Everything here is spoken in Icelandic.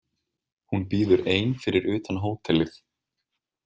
Hún bíður ein fyrir utan hótelið.